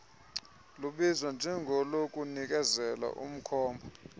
lubizwa njengolokunikezela umkhomba